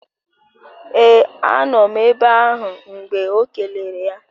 Ee anọ m ebe ahụ mgbe ọ kelere ya